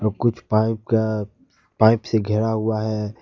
कुछ पाइप का पाइप से घेरा हुआ है।